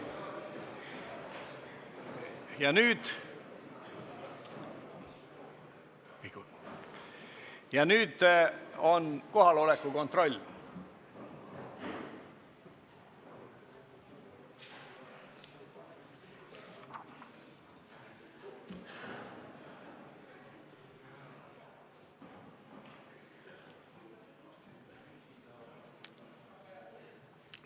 Ja nüüd teeme kohaloleku kontrolli.